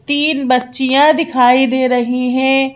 तीन बच्चिया दिखाई दे रही हैं।